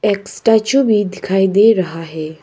एक स्टैचू भी दिखाई दे रहा है।